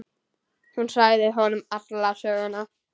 Hún sagði honum alla söguna.